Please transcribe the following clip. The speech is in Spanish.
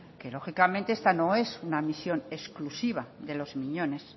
que lógicamente esta no es una misión exclusiva de los miñones